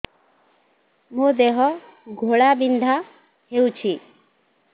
ମୋ ଦେହ ଘୋଳାବିନ୍ଧା ହେଉଛି